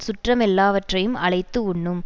சுற்றமெல்லாவற்றையும் அழைத்து உண்ணும்